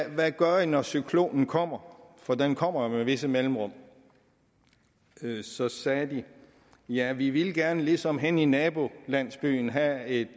hvad gør i når cyklonen kommer for den kommer jo med visse mellemrum så sagde de ja vi ville gerne ligesom henne i nabolandsbyen have et